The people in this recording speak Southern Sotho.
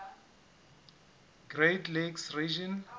great lakes region